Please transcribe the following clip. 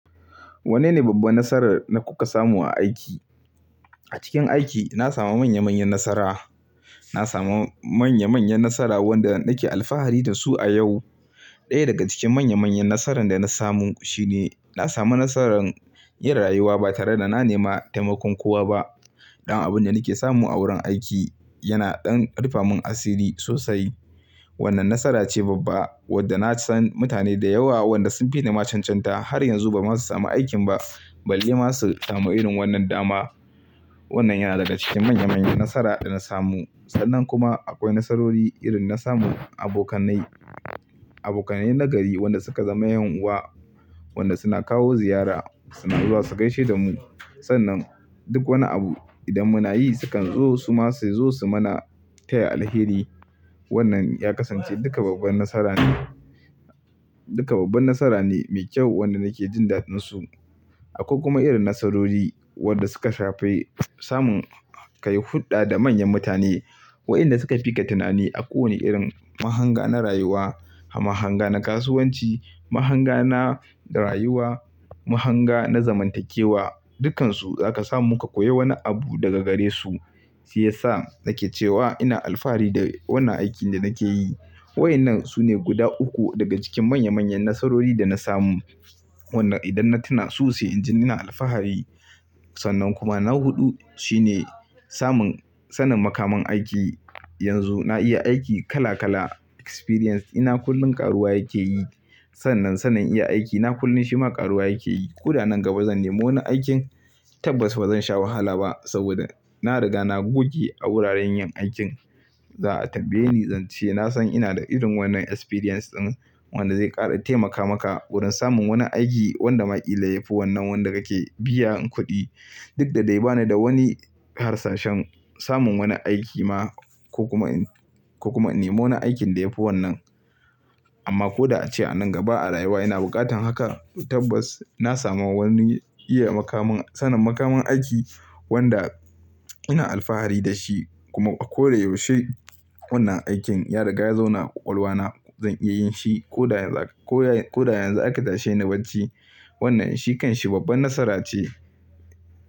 Wanne ne babbar nasara da kuka samu a aiki? A cikin aiki na samu manya manyan nasara, na samu manya manyan nasara wanda nake alfahari da su a yau. Ɗaya daga cikin manya manyan nasaran da na samu shine na samu nasaran yin rayuwa ba tare da na nema taimakon kowa ba. Ɗan abin da nake samu a wurin aiki yana ɗan rufe mun asiri sosai. Wannan nasara ce babba wadda na san mutane da yawa wanda sun fi ni macen cantar har yanzu ba za su samu aikin ba, balle masu samun irin wannan dama. Wannan yana daga cikin manya manyan nasara da na samu. Sannan kuma akwai nasarori irin na samun abokanai, abokanai na gari wanda suka zama 'yan uwa, wanda suna kawo ziyara suna zuwa su gaishe da mu. Sannan duk wani abu idan muna yi sukan zo suma su zo su mana taya alheri. Wannan ya kasance duka babbar nasara ne, duka babbar nasara ne mai kyau wanda nake jin dadin su. Akwai kuma irin nasarori wanda suka shafi samun ka yi hulɗa da manyan mutane, wayanda suka fi ka tunani a kowane irin mahanga na rayuwa, mahanga na kasuwanci, mahanga na rayuwa, mahanga na zamantakewa, dukkansu zaka samu ka koya wani abu daga gare su. Shi yasa nake cewa ina alfahari da wannan aikin da nake yi. Waƴannan sune guda uku daga cikin manya manyan nasarori da na samu. Wannan idan na tuna su sai inji ina alfahari. Sannan kuma na huɗu shine samun sanin makaman aiki. Yanzu na iya aiki kala kala experience ina kullum karuwa yake yi. Sannan sanin iya aiki na kullum shima ƙaruwa yake yi. Ko da nan gaba zan nemo wani aikin tabbas ba zan sha wahala ba saboda na riga na goge a wuraren yin aikin za'a tambaye ni zan ce nasan ina da irin wannan experience ɗin wanda zai ƙara taimaka maka wurin samun wani aiki wanda maƙile yafi wannan wanda kake biyan kuɗi. Duk da dai ba ni da wani harsashen samun wani aiki ma ko kuma in, ko kuma nemo na aikin da yafi wannan. Amma ko da ace a nan gaba a rayuwa ina buƙatan haka tabbas na samu wani iya makaman, sanin makaman aiki wanda ina alfahari da shi kuma a kore yaushe wannan aikin ya riga ya zo na ƙwaƙwalwa na zan iya yin shi. Ko da yanzu aka, ko da yanzu aka tashe ni barci wannan shi kanshi babbar nasara ce.